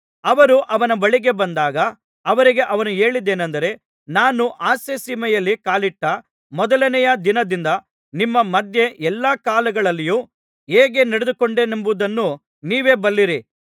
ಅವರು ಅವನ ಬಳಿಗೆ ಬಂದಾಗ ಅವರಿಗೆ ಅವನು ಹೇಳಿದ್ದೇನಂದರೆ ನಾನು ಆಸ್ಯಸೀಮೆಯಲ್ಲಿ ಕಾಲಿಟ್ಟ ಮೊದಲನೆಯ ದಿನದಿಂದ ನಿಮ್ಮ ಮಧ್ಯೆ ಎಲ್ಲಾ ಕಾಲಗಳಲ್ಲಿಯೂ ಹೇಗೆ ನಡೆದುಕೊಂಡೆನೆಂಬುದನ್ನು ನೀವೇ ಬಲ್ಲಿರಿ